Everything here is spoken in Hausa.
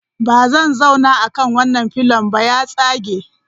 Ba zan zauna akan wannan pillion ba, ya tsage.